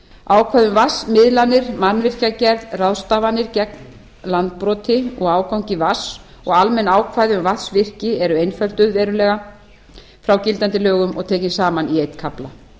ákvæði um vatnsmiðlanir mannvirkjagerð ráðstafanir gegn landbroti og ágangi vatns og almenn ákvæði um vatnsvirki eru einfölduð verulega frá gildandi lögum og tekið saman í einn kafla